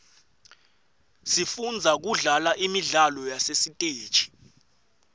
sifundza kudlala imidlalo yasesiteji